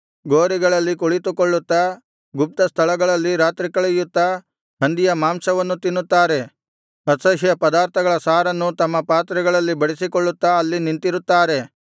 ಗೋರಿಗಳಲ್ಲಿ ಕುಳಿತುಕೊಳ್ಳುತ್ತಾ ಗುಪ್ತಸ್ಥಳಗಳಲ್ಲಿ ರಾತ್ರಿ ಕಳೆಯುತ್ತಾ ಹಂದಿಯ ಮಾಂಸವನ್ನು ತಿನ್ನುತ್ತಾ ಅಸಹ್ಯ ಪದಾರ್ಥಗಳ ಸಾರನ್ನು ತಮ್ಮ ಪಾತ್ರೆಗಳಲ್ಲಿ ಬಡಿಸಿಕೊಳ್ಳುತ್ತಾ ಅಲ್ಲಿ ನಿಂತಿರುತ್ತಾರೆ